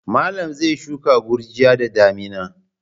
Malam zai shuka gurjiya da damina.